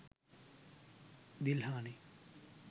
dilhani